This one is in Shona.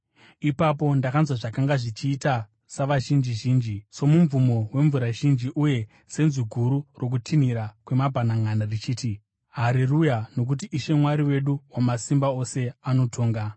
Ipapo ndakanzwa zvakanga zvichiita savazhinji zhinji, somumvumo wemvura zhinji uye senzwi guru rokutinhira kwemabhananʼana, richiti: “Hareruya! Nokuti Ishe Mwari wedu Wamasimba Ose anotonga.